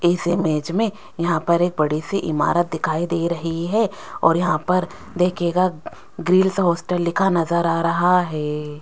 इस इमेज में यहां पर एक बड़ी सी इमारत दिखाई दे रही है और यहां पर देखिएगा ग्रिल्स हॉस्टल लिखा नजर आ रहा है।